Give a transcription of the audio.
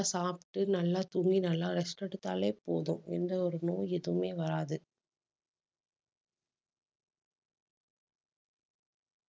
சாப்பிட்டு நல்லா தூங்கி நல்லா rest எடுத்தாலே போதும். எந்த ஒரு நோய் எதுவுமே வராது